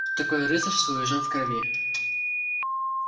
такое рыцарство у южан в крови